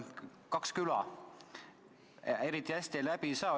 Kaks küla, eriti hästi läbi ei saa.